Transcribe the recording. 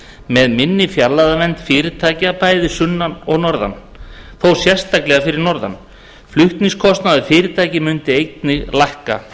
með minni fjarlægðarvernd fyrirtækja bæði fyrir sunnan og norðan þó sérstaklega fyrir norðan flutningskostnaður fyrirtækja mundi einnig lækka